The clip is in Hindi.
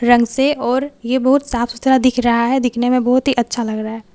रंग से और ये बहोत साफ सुथरा दिख रहा है दिखने में बहोत ही अच्छा लग रहा--